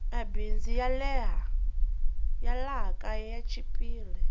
mabindzu ya laha kaya ya chipile